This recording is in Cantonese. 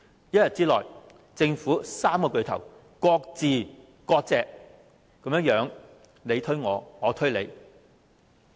一天之內，政府三大巨頭分別"割席"，互相推搪責任。